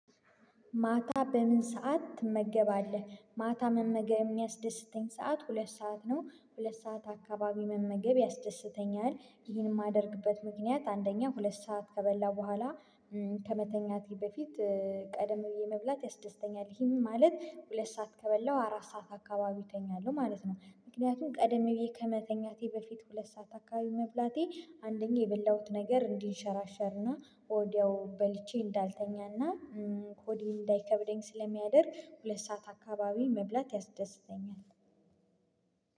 ማታ በምን ሰዓት ትመገባለህ? ማታ መመገብ የሚያስደስተኝ ሰዓት ሁለት ሰዓት ነው። ሁለት ሰዓት አካባቢ መመገብ ያስደስተኛል ይህን የማደርግበት ምክንያት አንደኛ ሁለት ሰዓት ከበላሁ በኋላ ከመተኛቴ በፊት ቀደም ብዬ መብላት ያስደስተኛል ይሄንን ማለት ሁለት ሰዓት ከበላው አራት ሰዓት አካባቢው እተኛለሁ ማለት ነው። ምክንያቱም ቀደም ብዬ ከመተኛቴ በፊት ሁለት ሰዓት አካባቢው መብላቴ አንደኛ የበላሁት ነገር እንዲንሸራሸርና ወዲያው በልቼ እንዳልተኛና ሆዴን እንዳይከብደኝ ስለሚያደርግ ሁለት ሰዓት አካባቢ መብላት ያስደስተኛል።